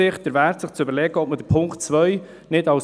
Ich sage es nochmals: